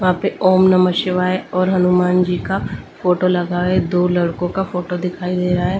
वहां पे ओम नमः शिवाय और हनुमान जी का फोटो लगा है दो लड़कों का फोटो दिखाई दे रहा है।